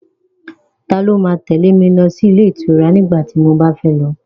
Ta ló ma tẹ́lẹ̀ mi lọ sí ilé ìtura nígbà tí mo bá fẹ́ lọ?